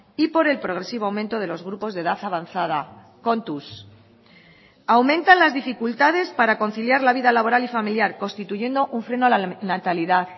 y por el progresivo aumento de los grupos de edad avanzada kontuz aumentan las dificultades para conciliar la vida laboral y familiar constituyendo un freno a la natalidad